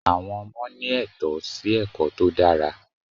Àwọn ọmọ ní ètó sí ẹ̀kọ́ tó dára